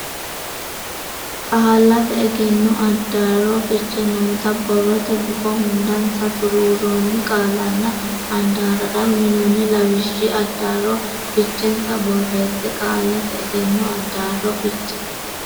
Qallate Egenno Addaarro Fiche noota borrote gufo hundansa xuruurroonni qaallanna handaarrara uynoonni lawishshi addaarro fichensa borreesse Qallate Egenno Addaarro Fiche.